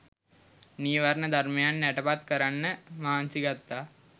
නීවරණ ධර්මයන් යටපත් කරන්න මහන්සි ගත්තා.